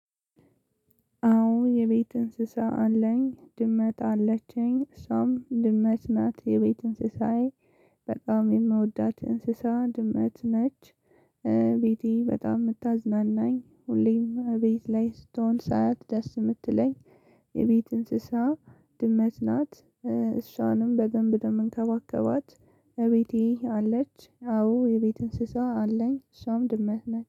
አዎ የቤት እንስሳ አለኝ ድመት አለችኝ እሷም ድመት ናት የቤት እንስሳዬ በጣም የምወዳት እንስሳ ድመት ነች። ቤቴ በጣም ምታዝናናኝ ሁሌም እቤት ላይ ስትሆን ሳያት ደስ የምትለኝ። የቤት እንስሳ ድመት ናት። እሷንም በደንብ ነው እምንከባከባት። እቤቴ አለች አዎ የቤት እንስሳ አለኝ እሷም ድመት ናት